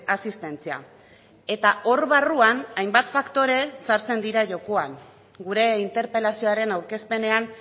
asistentzia eta hor barruan hainbat faktore sartzen dira jokoan gure interpelazioaren aurkezpenean